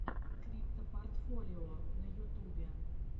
криптопортфолио на ютубе